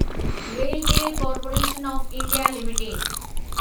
RailTel corporation of India limited